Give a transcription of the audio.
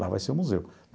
Lá vai ser o museu.